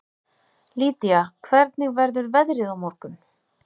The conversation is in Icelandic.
Lýdía, hvernig verður veðrið á morgun?